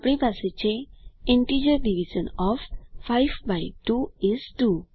આપણી પાસે છે integer division of 5 by 2 is 2